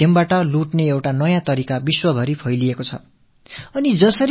தொழில்நுட்பத்தைப் பயன்படுத்தி களவாடும் ஒரு புதிய உத்தி உலகம் முழுவதிலும் பரவி வருகிறது